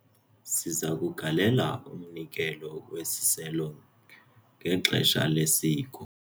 Siza kugalela umnikelo wesiselo ngexesha lesiko.